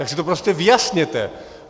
Tak si to prostě vyjasněte.